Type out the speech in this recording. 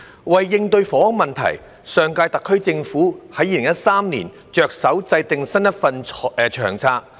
為應對房屋問題，上屆特區政府在2013年着手制訂新一份《長策》。